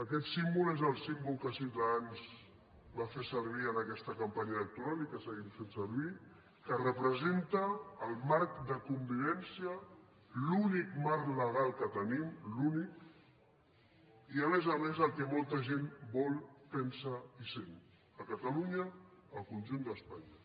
aquest símbol és el símbol que ciutadans va fer servir en aquesta campanya electoral i que seguim fent servir que representa el marc de convivència l’únic marc legal que tenim l’únic i a més a més el que molta gent vol pensa i sent a catalunya al conjunt d’espanya